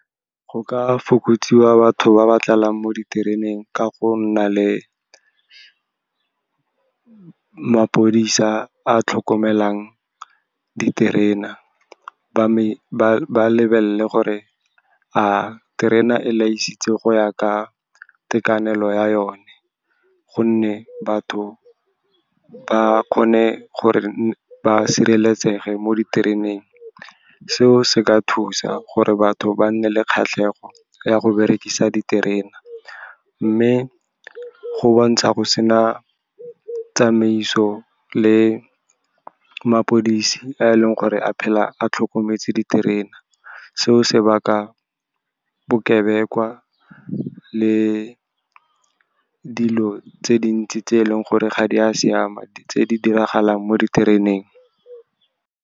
Go ka fokotsiwa batho ba ba tlalang mo ditereneng ka go nna le maphodisa a a tlhokomelang diterena, ba lebelele gore a terena e laišitse go ya ka itekanelo ya yone. Gonne batho ba kgone gore ba sireletsege mo ditereneng. Seo se ka thusa gore batho ba nne le kgatlhego ya go berekisa diterena. Mme go bontsha go sena tsamaiso le maphodisi a e leng gore a phela a tlhokometse diterena. Seo se baka bokebekwa le dilo tse dintsi tse e leng gore ga di a siama, di tse di diragalang mo ditereneng.